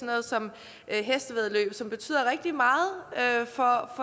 noget som hestevæddeløb som betyder rigtig meget for